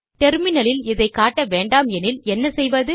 டெர்மினலில் இதை காட்ட வேண்டாமெனில் என்ன செய்வது